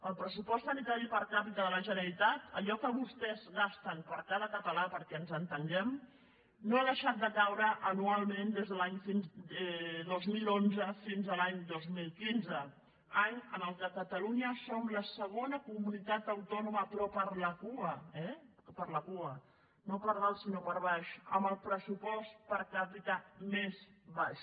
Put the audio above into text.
el pressupost sanitari per capitaper cada català perquè ens entenguem no ha deixat de caure anualment des de l’any dos mil onze fins a l’any dos mil quinze any en què catalunya som la segona comunitat autònoma però per la cua eh per la cua no per dalt sinó per baix amb el pressupost per capita més baix